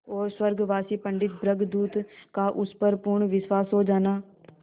और स्वर्गवासी पंडित भृगुदत्त का उस पर पूर्ण विश्वास हो जाना